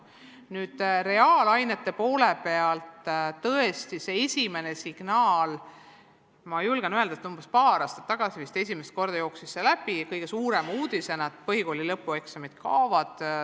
Nüüd reaalainete poole pealt oli tõesti esimene signaal see – ma julgen öelda, et vist umbes paar aastat tagasi jooksis see esimest korda kõige suurema uudisena läbi –, et põhikooli lõpueksamid kaovad.